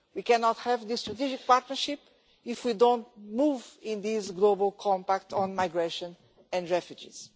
We cannot have this strategic partnership if we don't move on this global compact on migration and refugees.